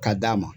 Ka d'a ma